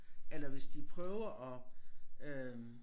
Eller hvis det prøver at øh